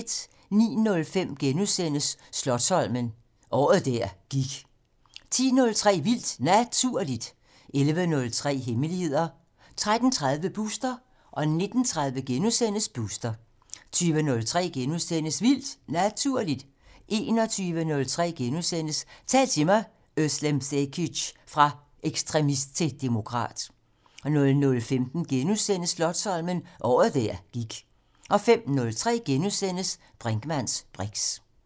09:05: Slotsholmen - året der gik * 10:03: Vildt Naturligt 11:03: Hemmeligheder 13:30: Booster 19:30: Booster * 20:03: Vildt Naturligt * 21:03: Tal til mig - Özlem Cekic: Fra ekstremist til demokrat * 00:05: Slotsholmen - året der gik * 05:03: Brinkmanns briks *